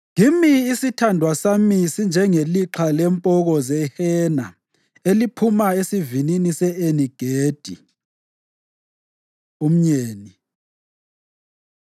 Kimi isithandwa sami sinjengelixha lempoko zehena eliphuma esivinini se-Eni-Gedi. Umyeni